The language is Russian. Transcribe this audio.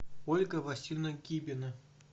ольга васильевна кибина